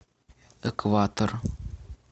экватор